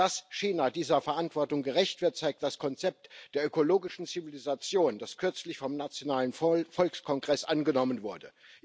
Dass China dieser Verantwortung gerecht wird, zeigt das Konzept der ökologischen Zivilisation, das kürzlich vom nationalen Volkskongress angenommen wurde.